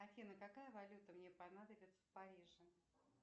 афина какая валюта мне понадобится в париже